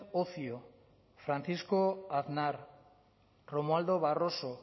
ocio francisco aznar romualdo barroso